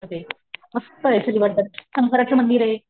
ते मस्तय श्रीवर्धन शंकराच मंदिरे,